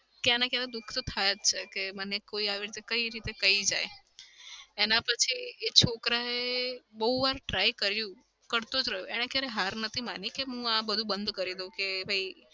ક્યાંયના ક્યાં દુખ તો થાય જ છે કે મને કોઈ આવી રીતે કઈ રીતે કઈ જાય. એના પછી એ છોકરાએ બઉ વાર try કર્યું. કરતો જ રહ્યો એને ક્યારે હાર નથી માની કે હું આ બધું બંધ કરી દઉં કે ભઈ